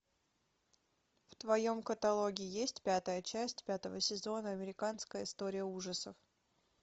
в твоем каталоге есть пятая часть пятого сезона американская история ужасов